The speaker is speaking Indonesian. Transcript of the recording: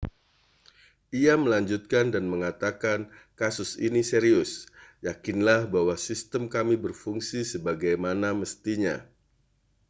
ia melanjutkan dan mengatakan kasus ini serius yakinlah bahwa sistem kami berfungsi sebagaimana mestinya